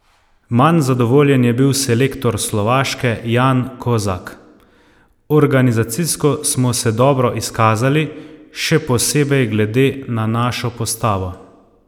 Manj zadovoljen je bil selektor Slovaške Jan Kozak: 'Organizacijsko smo se dobro izkazali, še posebej glede na našo postavo.